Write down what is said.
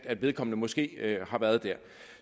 at vedkommende måske har været der